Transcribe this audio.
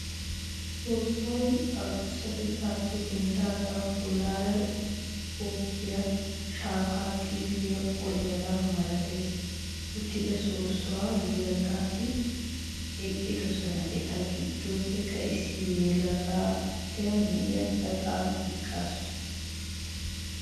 Soossuwa adussatettaappe denddaagan bollaara goggiya shaafay xiilliya qoliyogaa malati uttida soossuwan yelagati eqqidosona. Eta giddoppe issi geela'oti na'iya gaxan eqqaasu.